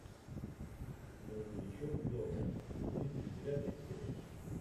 грузовичок лева тридцать девятая серия